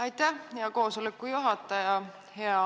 Aitäh, hea koosoleku juhataja!